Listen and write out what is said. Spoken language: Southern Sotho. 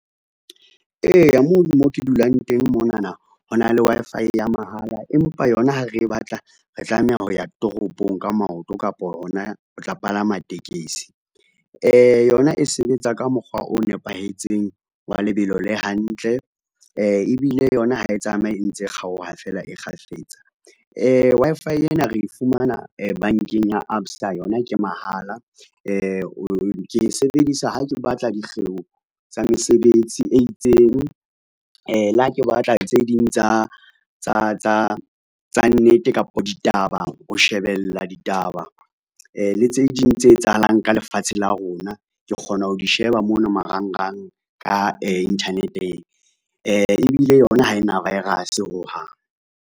Eya mono mo ke dulang teng monana ho na le Wi-Fi ya mahala, empa yona ha re batla re tlameha ho ya toropong ka maoto kapa hona ho tla palama tekesi, yona e sebetsa ka mokgwa o nepahetseng wa lebelo le hantle ebile yona ha e tsamaye e ntse e kgaoha feela kgafetsa. Wi-Fi ena re fumana bankeng ya ABSA yona ke mahala ke e sebedisa ha ke batla dikgeo tsa mesebetsi e itseng, le ha ke batla tse ding tsa nnete kapa ditaba, ho shebella ditaba le tse ding tse etsahalang ka lefatshe la rona, ke kgona ho di sheba mona marangrang ka internet-eng, ebile yona ha ena virus ho hang.